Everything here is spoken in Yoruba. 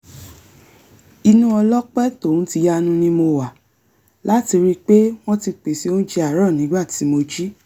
ìnú ọlọ́pẹ́ tòhun tìyanu ni mo wà láti ríi pé wọ́n ti pèsè oúnjẹ àárọ̀ nígbà tí mo jí